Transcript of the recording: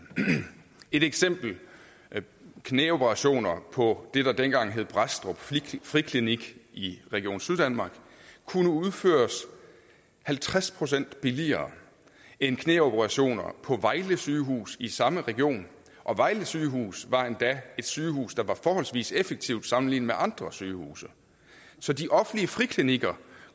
et eksempel knæoperationer på det der dengang hed brædstrup friklinik i region syddanmark kunne nu udføres halvtreds procent billigere end knæoperationer på vejle sygehus i samme region og vejle sygehus var endda et sygehus der var forholdsvis effektivt sammenlignet med andre sygehuse så de offentlige friklinikker